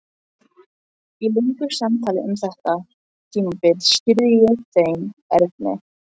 Í löngu samtali um þetta tímabil skýrði ég þeim Erni